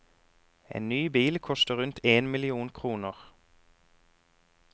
En ny bil koster rundt én million kroner.